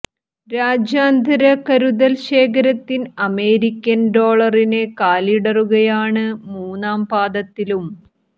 രാജ്യാന്തര കരുതൽ ശേഖരത്തിൽ അമേരിക്കൻ ഡോളറിന് കാലിടറുകയാണ് മൂന്നാം പാദത്തിലും